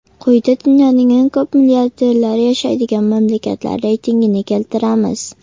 Quyida dunyoning eng ko‘p milliarderlari yashaydigan mamlakatlar reytingini keltiramiz.